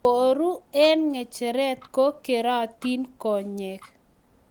koru eng ngecheret ko keratin konyek